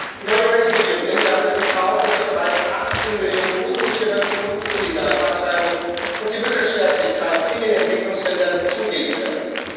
Die neue US Regierung nimmt damit in Kauf, dass die bereits 18 Millionen unsicheren und illegalen Abtreibungen und die Müttersterblichkeit in den Entwicklungsländern zunehmen werden.